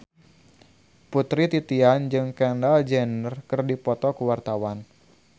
Putri Titian jeung Kendall Jenner keur dipoto ku wartawan